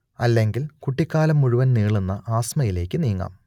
അല്ലെങ്കിൽ കുട്ടിക്കാലം മുഴുവൻ നീളുന്ന ആസ്മയിലേക്ക് നീങ്ങാം